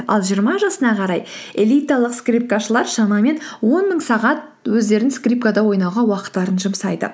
ал жиырма жасына қарай элиталық скрипкашылар шамамен он мың сағат өздерін скрипкада ойнауға уақытттарын жұмсайды